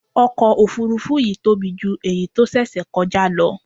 Ọkọ̀ Òfurufú yìí tóbi jù èyí tó ṣẹ̀ṣẹ̀ kọjá lọ.